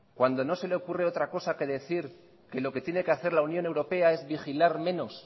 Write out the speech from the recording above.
cuando no se le ocurre otra cosa que decir que lo que tiene que hacer la unión europea es vigilar menos